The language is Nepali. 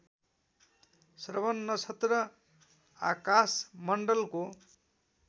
श्रवण नक्षत्र आकाशमण्डलको